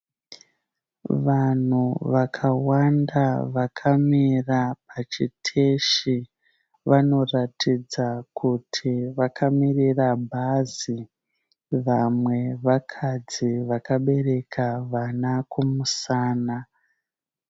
Vanhu vakawanda vakamira pachiteshi. Vanoratidza kuti vakamirira bhazi. Vamwe vakadzi vakabereka vana kumusana.